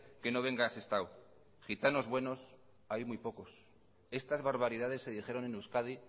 que no venga a sestao gitanos buenos hay muy pocos estas barbaridades se dijeron en euskadi